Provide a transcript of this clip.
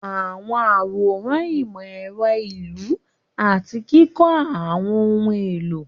Àwọn àwòrán ìmọ̀ ẹ̀rọ ìlú àti kíkọ́ àwọn ohun èlò.